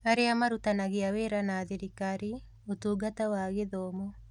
Arĩa marutithanagia wĩra na thirikari: Ũtungata wa Gĩthomo